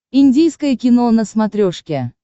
индийское кино на смотрешке